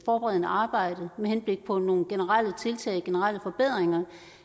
forberedende arbejde med henblik på nogle generelle tiltag generelle forbedringer